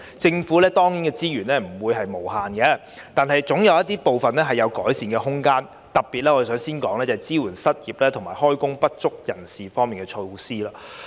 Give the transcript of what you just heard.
政府資源不是無限的，但部分措施仍有改善空間，特別是支援失業及就業不足人士方面的措施。